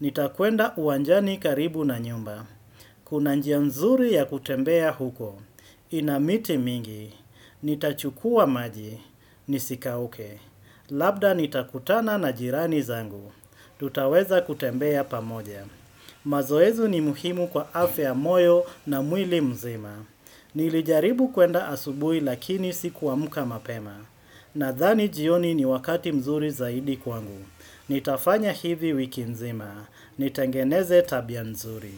Nitakwenda uwanjani karibu na nyumba. Kuna njia nzuri ya kutembea huko. Mmhh hik Inamiti mingi. Nitachukua maji. Nisikauke. Labda nitakutana na jirani zangu. Mmhh Tutaweza kutembea pamoja. Mh m Mazoezu ni muhimu kwa afya ya moyo na mwili mzima. Mhh Nilijaribu kwenda asubui lakini sikuamka mapema na dhani jioni ni wakati mzuri zaidi kwangu. Mhh Nitafanya hivi wiki nzima Nitengeneze tabia mzuri.